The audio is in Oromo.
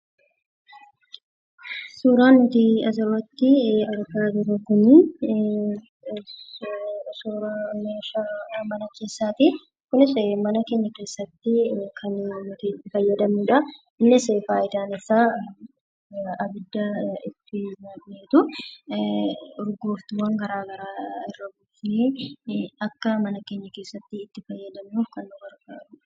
Suuraa nuti bakka kanatti argaa jirru kun suuraa meeshaa mana keessaati. Innis mana keenya keessatti kan nuti itti fayyadamnudha. Innis faayidaan isaa ibidda itti godhaniitu urgooftuuwwan gara garaa irra buufnee akka mana keenya keessatti itti fayyadamnuuf kan nu gargaarudha.